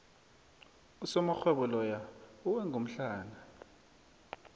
usomarhwebo loya uwe ngomhlana